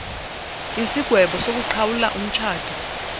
isigwebo sokuqhawula umtshato